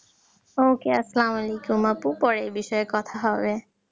Ok আসসালামালাইকুম আপু পরে কথা হবে